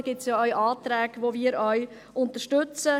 Es gibt Anträge, die wir auch unterstützen.